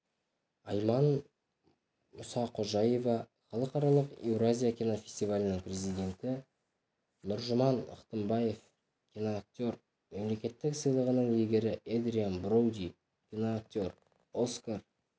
айман мұсақожаева халықаралық еуразия кинофестивалінің президенті нұржұман ықтымбаев киноактер мемлекеттік сыйлығының иегері эдриан броуди киноактер оскар